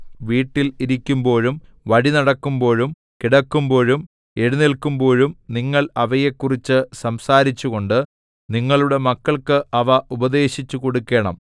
വീട്ടിൽ ഇരിക്കുമ്പോഴും വഴി നടക്കുമ്പോഴും കിടക്കുമ്പോഴും എഴുന്നേല്ക്കുമ്പോഴും നിങ്ങൾ അവയെക്കുറിച്ച് സംസാരിച്ചുകൊണ്ട് നിങ്ങളുടെ മക്കൾക്ക് അവ ഉപദേശിച്ചുകൊടുക്കേണം